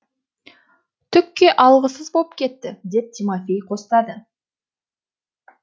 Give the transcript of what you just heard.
түкке алғысыз боп кетті деп тимофей қостады